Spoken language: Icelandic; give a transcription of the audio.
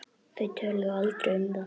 Þau töluðu aldrei um það.